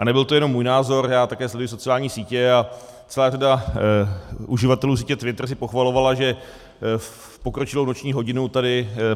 A nebyl to jenom můj názor, já také sleduji sociální sítě a celá řada uživatelů sítě Twitter si pochvalovala, že v pokročilou noční hodinu tady